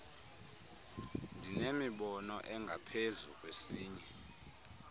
ndinemibono engaphezu kwesinye